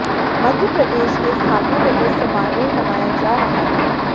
मध्य प्रदेश के स्थापना दिवस समारोह मनाया जा रहा है